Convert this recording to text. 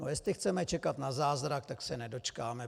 No, jestli chceme čekat na zázrak, tak se nedočkáme.